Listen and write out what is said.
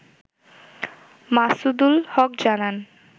মাসুদুল হক জানান